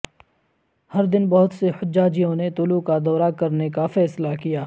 ہر دن بہت سے حجاجوں نے طلوع کا دورہ کرنے کا فیصلہ کیا